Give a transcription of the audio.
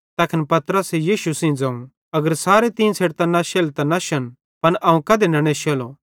तैखन पतरसे यीशु सेइं ज़ोवं अगर सारे तीं छ़ेडतां नश्शेले त नश्शन पन अवं कधे न नेश्शेलो